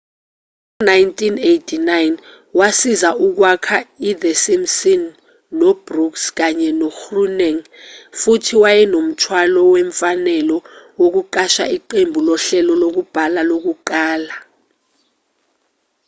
ngo-1989 wasiza ukwakha i-the simpsons no-brooks kanye no-groening futhi wayenomthwalo wemfanelo wokuqasha iqembu lohlelo lokubhala lokuqala